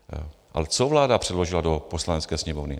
Ale co vláda předložila do Poslanecké sněmovny?